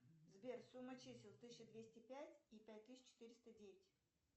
сбер сумма чисел тысяча двести пять и пять тысяч четыреста девять